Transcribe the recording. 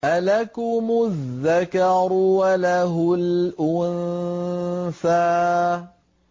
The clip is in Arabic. أَلَكُمُ الذَّكَرُ وَلَهُ الْأُنثَىٰ